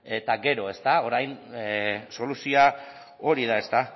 eta gero orain soluzioa hori da ezta